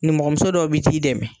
Nimɔgɔmuso dɔw bi t'i dɛmɛ